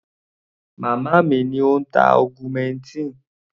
Màmá mi ni ó ń tá augmentin.